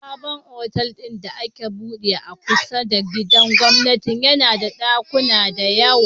Sabon otal din da aka buɗe a kusa da gidan gwamnati yAna da dakuna da yawa